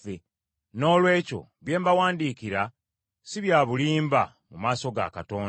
Noolwekyo bye mbawandiikira, si bya bulimba mu maaso ga Katonda.